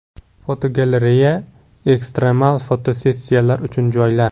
Fotogalereya: Ekstremal fotosessiyalar uchun joylar.